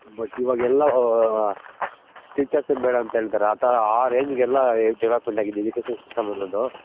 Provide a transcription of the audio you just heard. but ಇವಾಗೆಲ್ಲ Teachers ಬೇಡ ಅಂತ ಹೇಳ್ತಾರೆ ಆ Range ಗೆ ಎಲ್ಲ Development ಆಗಿದೆ education system ಅನ್ನೋದು .